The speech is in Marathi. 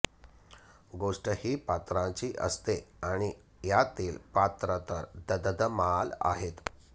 गोष्ट ही पात्रांची असते आणि यातली पात्र तर ध ध ध माल आहेत